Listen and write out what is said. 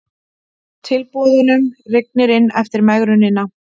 Tilboðunum rignir inn eftir megrunina